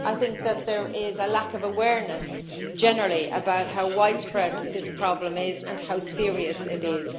I think that there is a lack of awareness generally about how widespread this problem is and how serious it is.